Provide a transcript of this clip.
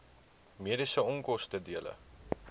mediese onkoste dele